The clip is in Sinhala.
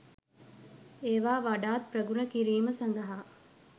ඒවා වඩාත් ප්‍රගුණ කිරීම සඳහා